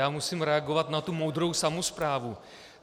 Já musím reagovat na tu moudrou samosprávu.